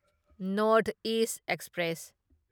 north east express